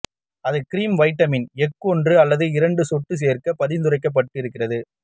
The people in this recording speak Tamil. அது கிரீம் வைட்டமின் எஃப் ஒன்று அல்லது இரண்டு சொட்டு சேர்க்க பரிந்துரைக்கப்படுகிறது